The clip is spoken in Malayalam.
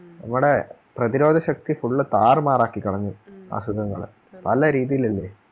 നമ്മുടെ പ്രതിരോധശക്തി full താറു മാറാക്കി കളഞ്ഞു അസുഖങ്ങൾ പല രീതിയിലല്ലേ